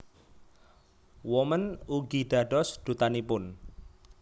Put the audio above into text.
Woman ugi dados Dutanipun